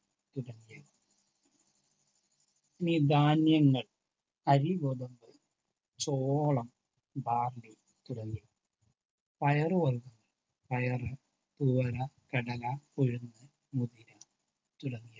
ഇനി ധാന്യങ്ങൾ അരി, ഗോതമ്പു, ചോളം, ബാർലി തുടങ്ങി പയർ വർഗ്ഗങ്ങൾ പയർ, തുവര, കടല, ഉഴുന്ന്, മുതിര തുടങ്ങിയ